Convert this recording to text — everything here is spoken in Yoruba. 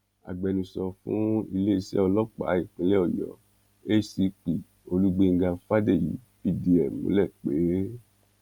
agbẹnusọ fún iléeṣẹ́ ọlọ́pàá ìpínlẹ̀ ọ̀yọ́ acp olúgbénga fádèyí fìdí ẹ múlẹ pé